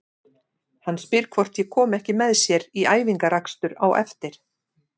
Hann spyr hvort ég komi ekki með sér í æfingaakstur á eftir.